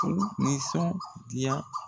K'u nisɔndiya.